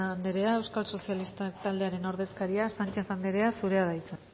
andrea euskal sozialistak taldearen ordezkaria sanchez andrea zurea da hitza